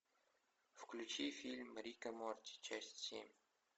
включи фильм рик и морти часть семь